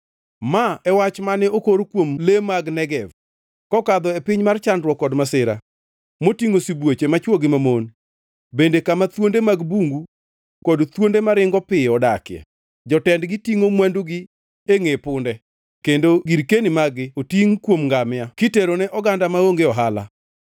Ma e wach mane okor kuom le mag Negev: Kokadho e piny mar chandruok kod masira, motingʼo sibuoche machwo to gi mamon bende kama thuonde mag bungu kod thuonde maringo piyo odakie, jootegi tingʼo mwandugi e ngʼe punde kendo girkeni mag-gi otingʼ e kuom ngamia, kiterone oganda maonge ohala,